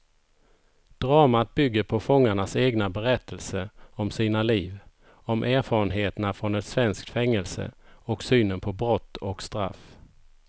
Dramat bygger på fångarnas egna berättelser om sina liv, om erfarenheterna från ett svenskt fängelse och synen på brott och straff.